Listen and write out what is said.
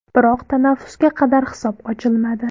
Biroq tanaffusga qadar hisob ochilmadi.